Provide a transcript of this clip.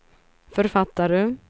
författare